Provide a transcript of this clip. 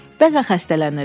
Bəzən xəstələnirdi.